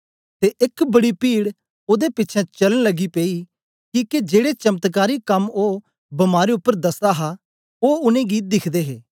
ते एक बड़ी पीड़ ओदे पिछें चलन लगी पेई किके जेड़े चमत्कारी कम्म ओ बमारें उपर दसदा हा ओ उनेंगी दिख्दे हे